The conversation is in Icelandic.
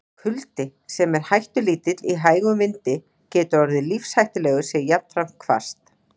Kuldi, sem er hættulítill í hægum vindi, getur orðið lífshættulegur sé jafnframt hvasst.